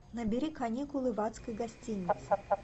набери каникулы в адской гостинице